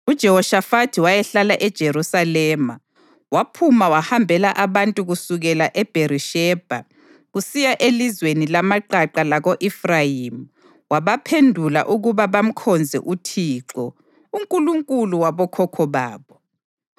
UJehoshafathi wayehlala eJerusalema, waphuma wahambela abantu kusukela eBherishebha kusiya elizweni lamaqaqa lako-Efrayimi wabaphendula ukuba bamkhonze uThixo, uNkulunkulu wabokhokho babo.